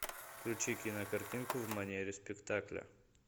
включи кинокартинку в манере спектакля